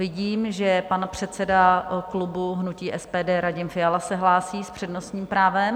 Vidím, že pan předseda klubu hnutí SPD Radim Fiala se hlásí s přednostním právem.